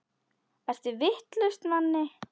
Ertu vitlaus Manni!